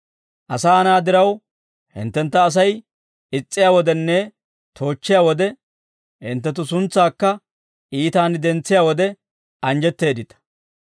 «Asaa na'aa diraw hinttentta Asay is's'iyaa wodenne toochchiyaa wode, hinttenttu suntsaakka iitaan dentsiyaa wode, anjjetteeddita.